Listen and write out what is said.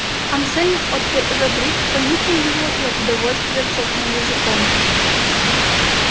ансельм от родрик понюхал её и от удовольствия цокнул языком